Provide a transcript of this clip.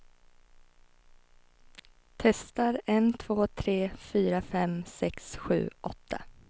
Testar en två tre fyra fem sex sju åtta.